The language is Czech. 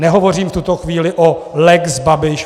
Nehovořím v tuto chvíli o lex Babiš.